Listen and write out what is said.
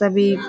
सभी --